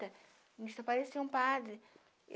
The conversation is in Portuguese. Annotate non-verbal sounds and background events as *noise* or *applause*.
*unintelligible* só parecia um padre.